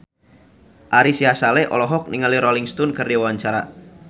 Ari Sihasale olohok ningali Rolling Stone keur diwawancara